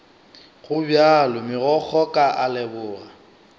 gobjalo megokgo ka a leboga